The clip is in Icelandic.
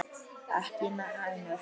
Ekki hænur?